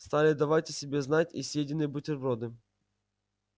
стали давать о себе знать и съеденные бутерброды